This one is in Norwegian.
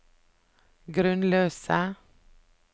grunnløse